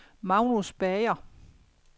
Magnus Bager